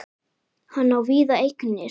Hann á víða eignir.